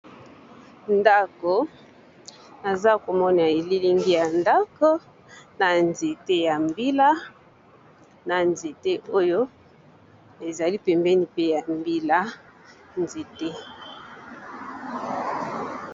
Ndako, naza komona elilingi ya ndako na nzete ya mbila na nzete oyo ezali pembeni pe ya mbila nzete.